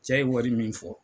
Cɛ ye wari min fɔ.